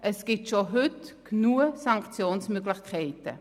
Es gibt also bereits heute genügend Sanktionsmöglichkeiten.